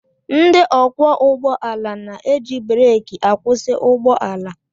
Ndị ọkwọ ụgbọala na-eji breki akwụsị ụgbọ ala